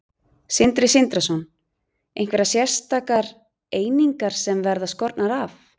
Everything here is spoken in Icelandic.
Sindri Sindrason: Einhverjar sérstakar einingar sem verða skornar af?